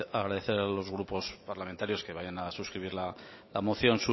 agradecer a los grupos parlamentarios que vayan a suscribir la moción